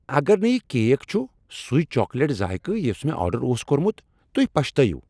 اگر نہٕ یہ کیک چھ سُٕے چاکلیٹک ذائقہ یس مےٚ آرڈر اوس کوٚرمت، تُہۍ پشتٲیِو۔